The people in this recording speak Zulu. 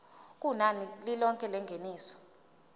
kunani lilonke lengeniso